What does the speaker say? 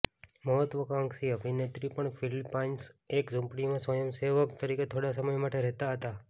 મહત્વાકાંક્ષી અભિનેત્રી પણ ફિલિપાઈન્સમાં એક ઝૂંપડીમાં સ્વયંસેવક તરીકે થોડા સમય માટે રહેતા હતા